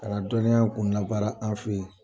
Ka na dɔnniya kun labaara an fɛ